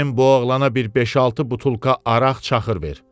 "Bizim bu oğlana bir beş-altı butulka araq-çaxır ver.